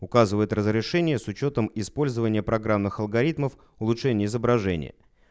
указывает разрешение с учётом использования программных алгоритмов улучшение изображения